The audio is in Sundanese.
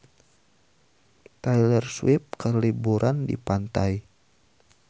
Taylor Swift keur liburan di pantai